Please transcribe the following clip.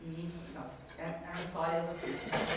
E então, eh eram histórias assim.